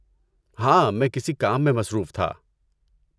ہاں! میں کسی کام میں مصروف تھا۔